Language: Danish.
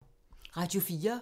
Radio 4